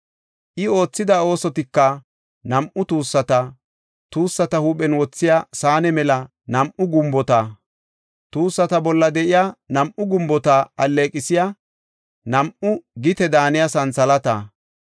I oothida oosotika nam7u tuussata, tuussata huuphen wothiya saane mela nam7u gumbota, tuussata bolla de7iya nam7u gumbota alleeqisiya nam7u gite daaniya santhalaata,